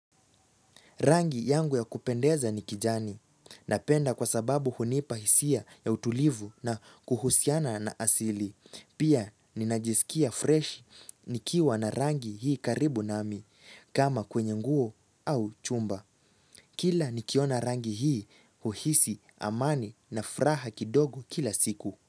Rangi yangu ya kupendeza ni kijani. Napenda kwa sababu hunipa hisia ya utulivu na kuhusiana na asili. Pia ninajisikia fresh nikiwa na rangi hii karibu nami kama kwenye nguo au chumba. Kila nikiona rangi hii huhisi amani na furaha kidogo kila siku.